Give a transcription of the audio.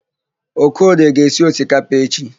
Okorie ga-esi osikapa echi.